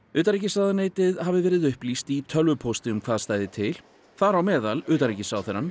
utanríkisráðuneytið hafi verið upplýst í tölvupósti um hvað stæði til þar á meðal utanríkisráðherrann